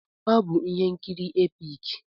Ọ bụ ihe nkiri epik.